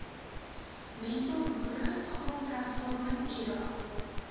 mentorboere grondhervorming lrad